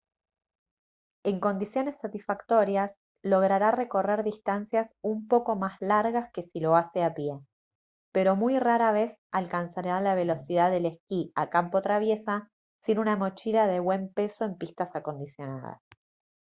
en condiciones satisfactorias logrará recorrer distancias un poco más largas que si lo hace a pie pero muy rara vez alcanzará la velocidad del esquí a campo traviesa sin una mochila de buen peso en pistas acondicionadas